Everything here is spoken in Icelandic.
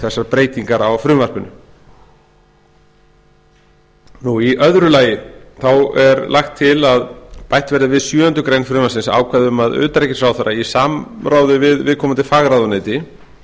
þessar breytingar á frumvarpinu í öðru lagi leggur meiri hlutinn til að bætt verði við sjöundu greinar frumvarpsins ákvæði um að utanríkisráðherra í samráði við viðkomandi fagráðuneyti